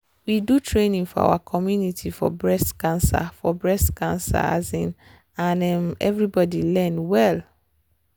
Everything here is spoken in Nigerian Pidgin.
we do training for our community for breast cancer for breast cancer um and um everybody learn well.